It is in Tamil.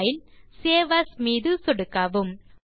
பைல்க்ட்க்ட் சேவ் Asமீது சொடுக்கவும்